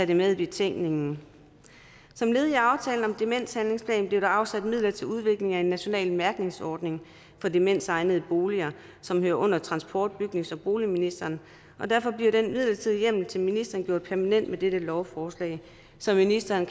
det med i betænkningen som led i aftalen om en demenshandlingsplan blev der afsat midler til udvikling af en national mærkningsordning for demensegnede boliger som hører under transport bygnings og boligministeren og derfor bliver den midlertidige hjemmel til ministeren gjort permanent med dette lovforslag så ministeren